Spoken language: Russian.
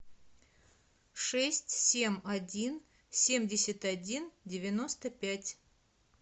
шесть семь один семьдесят один девяносто пять